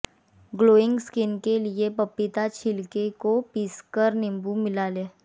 glowing skin के लिए पपीता छिलके को पीसकर नींबू मिला लें